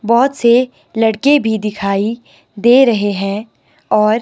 बहोत से लड़के भी दिखाई दे रहे हैं और--